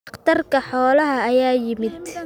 Dhakhtarka xoolaha ayaa yimid